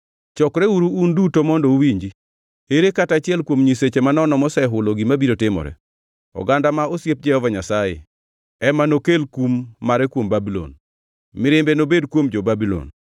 “Chokreuru un duto mondo uwinji: Ere kata achiel kuom nyiseche manono mosehulo gima biro timore? Oganda ma osiep Jehova Nyasaye ema nokel kum mare kuom Babulon; mirimbe nobed kuom jo-Babulon.